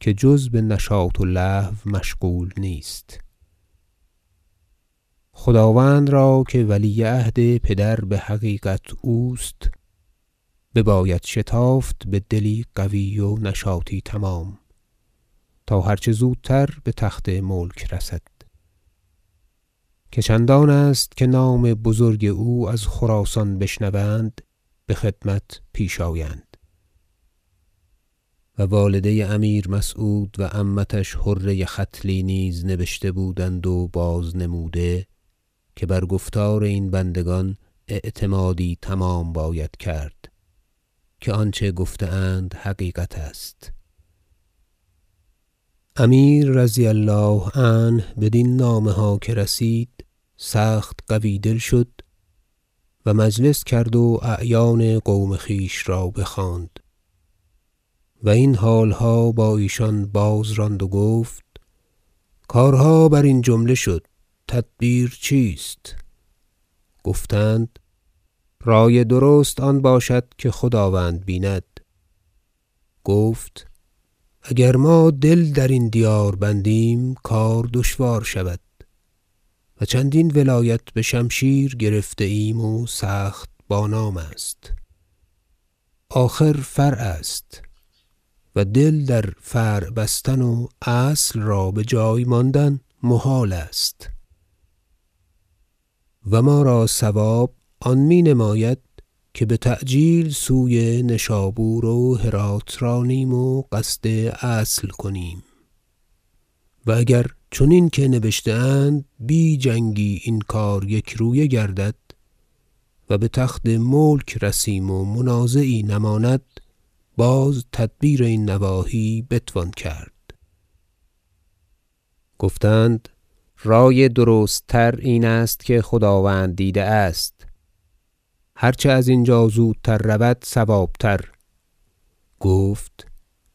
که جز به نشاط و لهو مشغول نیست خداوند را که ولی عهد پدر بحقیقت اوست بباید شتافت به دلی قوی و نشاطی تمام تا هر چه زودتر به تخت ملک رسد که چندان است که نام بزرگ او از خراسان بشنوند به خدمت پیش آیند و والده امیر مسعود و عمتش حره ختلی نیز نبشته بودند و بازنموده که بر گفتار این بندگان اعتمادی تمام باید کرد که آنچه گفته اند حقیقت است امیر -رضی الله عنه- بدین نامه ها که رسید سخت قوی دل شد و مجلس کرد و اعیان قوم خویش را بخواند و این حالها با ایشان بازراند و گفت کارها برین جمله شد تدبیر چیست گفتند رأی درست آن باشد که خداوند بیند گفت اگر ما دل درین دیار بندیم کار دشوار شود و چندین ولایت به شمشیر گرفته ایم و سخت بانام است آخر فرع است و دل در فرع بستن و اصل را بجای ماندن محال است و ما را صواب آن می نماید که بتعجیل سوی نشابور و هراة رانیم و قصد اصل کنیم و اگر چنین که نبشته اند بی جنگی این کار یکرویه گردد و به تخت ملک رسیم و منازعی نماند باز تدبیر این نواحی بتوان کرد گفتند رأی درست تر این است که خداوند دیده است هر چه از اینجا زودتر رود صواب تر گفت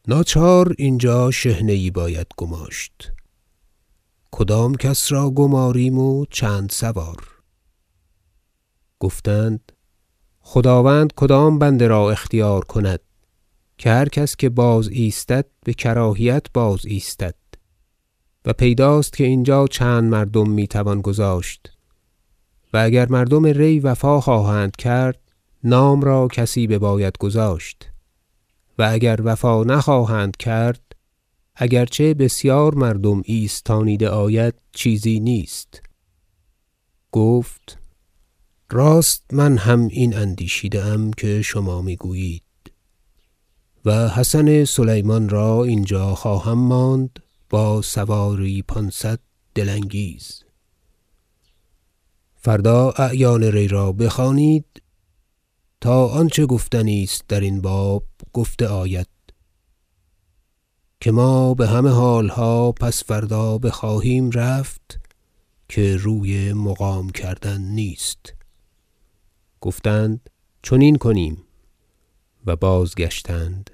ناچار اینجا شحنه یی باید گماشت کدام کس را گماریم و چند سوار گفتند خداوند کدام بنده را اختیار کند که هر کس که بازایستد به کراهیت بازایستد و پیداست که اینجا چند مردم می توان گذاشت و اگر مردم ری وفا خواهند کرد نام را کسی بباید گذاشت و اگر وفا نخواهند کرد اگرچه بسیار مردم ایستانیده آید چیزی نیست گفت راست من هم این اندیشیده ام که شما می گویید و حسن سلیمان را اینجا خواهم ماند با سواری پانصد دل انگیز فردا اعیان ری را بخوانید تا آنچه گفتنی است درین باب گفته آید که ما به همه حالها پس فردا بخواهیم رفت که روی مقام کردن نیست گفتند چنین کنیم و بازگشتند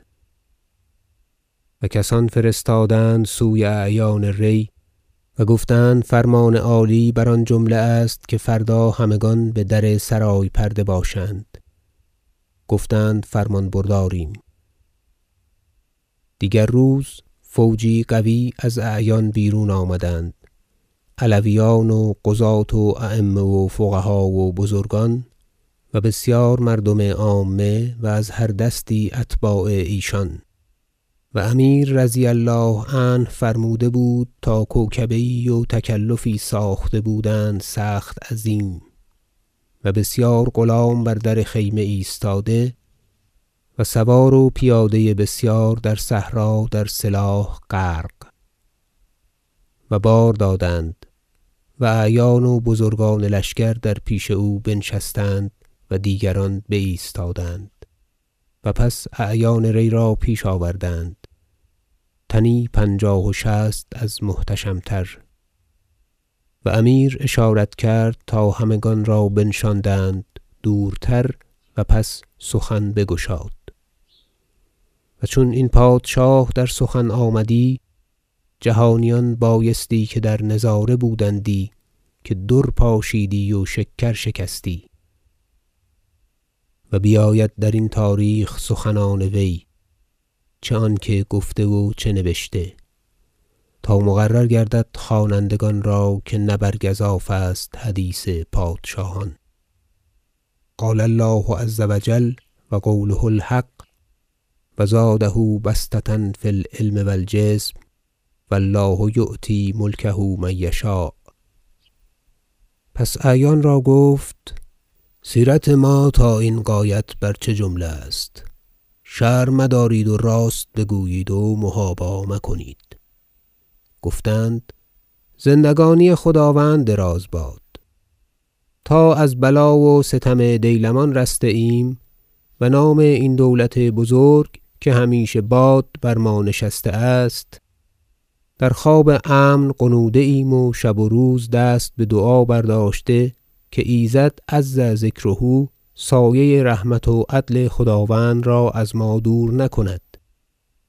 و کسان فرستادند سوی اعیان ری و گفتند فرمان عالی بر آن جمله است که فردا همگان به در سرای پرده باشند گفتند فرمانبرداریم دیگر روز فوجی قوی از اعیان بیرون آمدند علویان و قضاة و ایمه و فقها و بزرگان و بسیار مردم عامه و از هر دستی اتباع ایشان و امیر -رضي الله عنه- فرموده بود تا کوکبه یی و تکلفی ساخته بودند سخت عظیم و بسیار غلام بر در خیمه ایستاده و سوار و پیاده بسیار در صحرا در سلاح غرق و بار دادند و اعیان و بزرگان لشکر در پیش او بنشستند و دیگران بایستادند و پس اعیان ری را پیش آوردند تنی پنجاه و شصت از محتشم تر و امیر اشارت کرد تا همگان را بنشاندند دورتر و پس سخن بگشاد و چون این پادشاه در سخن آمدی جهانیان بایستی که در نظاره بودندی که در پاشیدی و شکر شکستی و بیاید در این تاریخ سخنان وی چه آنکه گفته و چه نبشته تا مقرر گردد خوانندگان را که نه بر گزاف است حدیث پادشاهان قال الله عز و جل و قوله الحق و زاده بسطة في العلم و الجسم و الله یؤتي ملکه من یشاء پس اعیان را گفت سیرت ما تا این غایت بر چه جمله است شرم مدارید و راست بگویید و محابا مکنید گفتند زندگانی خداوند دراز باد تا از بلا و ستم دیلمان رسته ایم و نام این دولت بزرگ که همیشه باد بر ما نشسته است در خواب امن غنوده ایم و شب و روز دست به دعا برداشته که ایزد -عز ذکره - سایه رحمت و عدل خداوند را از ما دور نکند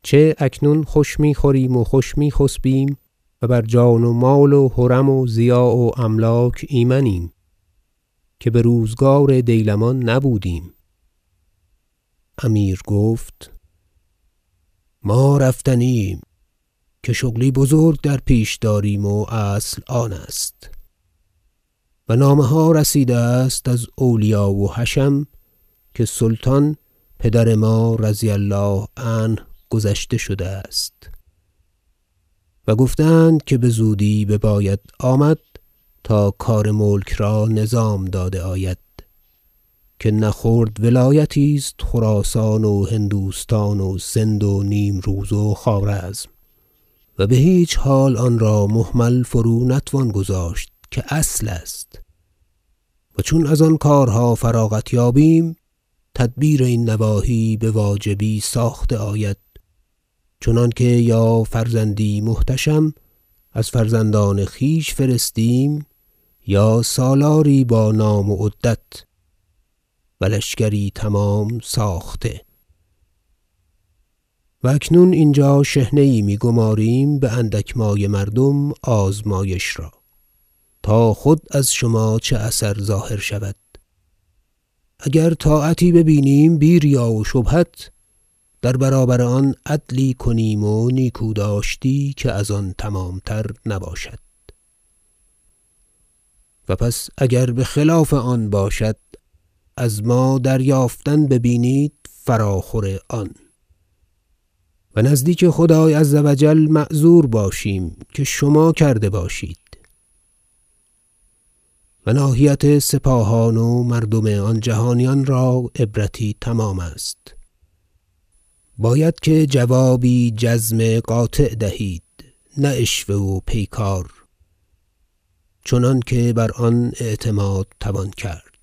چه اکنون خوش می خوریم و خوش می خسبیم و بر جان و مال و حرم و ضیاع و املاک ایمنیم که به روزگار دیلمان نبودیم امیر گفت ما رفتنی ایم که شغلی بزرگ در پیش داریم و اصل آن است و نامه ها رسیده است از اولیا و حشم که سلطان پدر ما -رضی الله عنه- گذشته شده است و گفته اند که بزودی بباید آمد تا کار ملک را نظام داده آید که نه خرد ولایتی است خراسان و هندوستان و سند و نیمروز و خوارزم و به هیچ حال آن را مهمل فرو نتوان گذاشت که اصل است و چون از آن کارها فراغت یابیم تدبیر این نواحی بواجبی ساخته آید چنانکه یا فرزندی محتشم از فرزندان خویش فرستیم یا سالاری با نام و عدت و لشکری تمام ساخته و اکنون اینجا شحنه یی می گماریم به اندک مایه مردم آزمایش را تا خود از شما چه اثر ظاهر شود اگر طاعتی ببینیم بی ریا و شبهت در برابر آن عدلی کنیم و نیکوداشتی که از آن تمام تر نباشد و پس اگر به خلاف آن باشد از ما دریافتن ببینید فراخور آن و نزدیک خدای -عز و جل- معذور باشیم که شما کرده باشید و ناحیت سپاهان و مردم آن جهانیان را عبرتی تمام است باید که جوابی جزم قاطع دهید نه عشوه و پیکار چنانکه بر آن اعتماد توان کرد